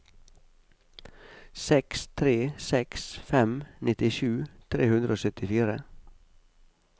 seks tre seks fem nittisju tre hundre og syttifire